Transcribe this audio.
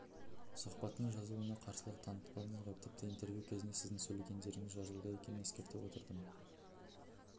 сұхбаттың жазылуына қарсылық танытпадыңыз ғой тіпті интервью кезінде сіздің сөйлегендеріңіз жазылуда екенін ескертіп отырдым